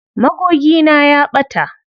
Magogina ya ɓata.